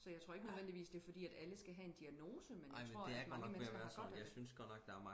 så jeg tror ikke nødvendigvis det er fordi at alle skal have en diagnose men jeg tror at mange mennesker har godt af det